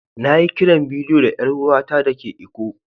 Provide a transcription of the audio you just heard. Na yi kiran bidiyo da yar uwa ta da ke lkko.